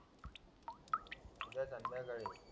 उद्या संध्याकाळी